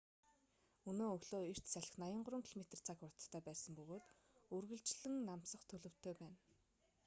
өнөө өглөө эрт салхи 83 км/цаг хурдтай байсан бөгөөд үргэлжлэн намсах төлөвтэй байна